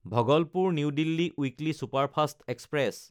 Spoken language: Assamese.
Bhagalpur New Delhi weekly superfast express